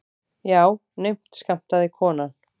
Já, naumt skammtaði konan.